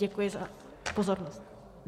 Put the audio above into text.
Děkuji za pozornost.